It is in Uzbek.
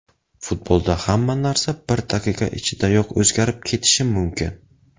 Futbolda hamma narsa bir daqiqa ichidayoq o‘zgarib ketishi mumkin.